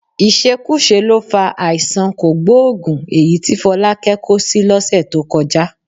Ìṣekúṣe ló fa àìsàn kògbóògùn èyí tí Fọlákẹ́ kó sí lọ́sẹ̀ tó kọjá